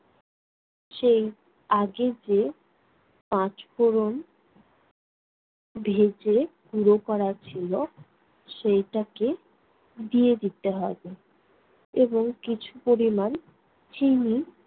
সেই আগে যে পাঁচ ফোড়ন ভেজে গুঁড়ো করা ছিলো, সেইটাকে দিয়ে দিতে হবে এবং কিছু পরিমাণ চিনি